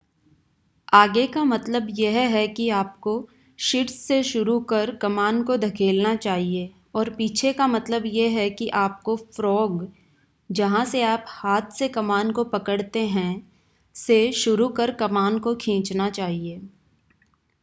आगे का मतलब यह है कि आपको शीर्ष से शुरू कर कमान को धकेलना चाहिए और पीछे का मतलब यह है कि आपको फ़्रॉग जहां से आप हाथ से कमान को पकड़ते हैं से शुरू कर कमान को खींचना चाहिए